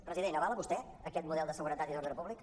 president avala vostè aquest model de seguretat i d’ordre públic